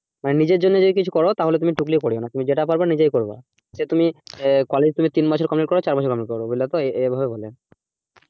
মানে নিজের জন্য যদি কিছু করো তাহলে তুমি টুকলি করো না তুমি যেটা পারবে নিজেই করবা সে তুমি college থেকে তিন বছরের complete করো বা চার বছরে complete করে বুঝল তো এইভাবে বলে,